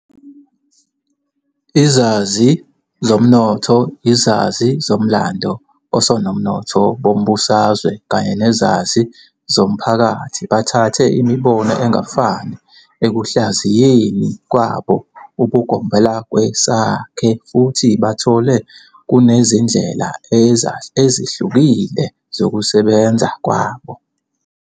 Izazi zomnotho, izazi zomlando, osomnotho bombusazwe kanye nezazi zomphakathi bathathe imibono engafani ekuhlaziyeni kwabo ubugombelakwesakhe futhi bathole kunezindlela ezihlukile zokusebenza kwabo.